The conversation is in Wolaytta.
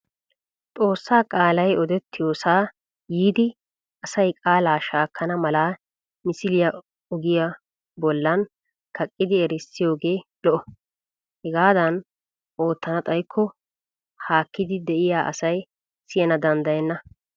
Xossaa qaalaalay odettiyoosaa yiidi asay qaalaa shaakkana mala misiliyaa ogiya bollan kaqqidi erissiyoogee lo'o. Hegaadan oottana xayikko haakkidi diya asay siyana danddayenna.